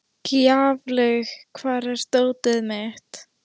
Gjaflaug, hvar er dótið mitt?